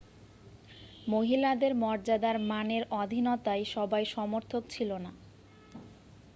মহিলাদের মর্যাদার মানের অধীনতায় সবাই সমর্থক ছিল না